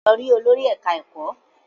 Lọ rí olórí ẹ̀ká ẹ̀kọ́!